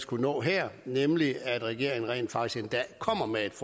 kunnet nå her nemlig at regeringen rent faktisk en dag kommer med et